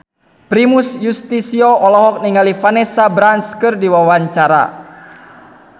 Primus Yustisio olohok ningali Vanessa Branch keur diwawancara